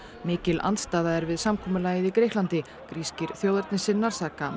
mikil andstaða er við samkomulagið í Grikklandi grískir þjóðernissinnar saka